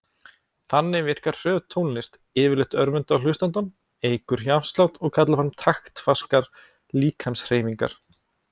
Þannig virkar hröð tónlist yfirleitt örvandi á hlustandann, eykur hjartslátt og kallar fram taktfastar líkamshreyfingar.